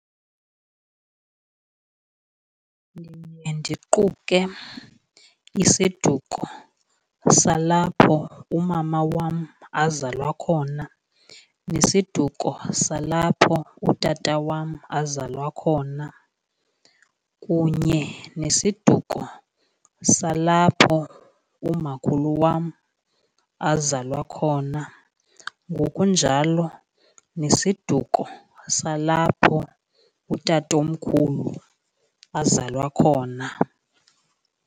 Ndiye ndiquke isiduko salapho umama wam azalwa khona nesiduko salapho utata wam azalwa khona, kunye nesiduko salapho umakhulu wam azalwa khona. Ngokunjalo nesiduko salapho utatomkhulu azalwa khona.